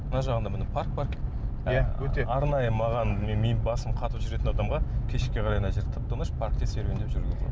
мына жағында міне парк бар иә өте арнайы маған менің басым қатып жүретін адамға кешке қарай мына жер тып тыныш паркте серуендеп жүруге болады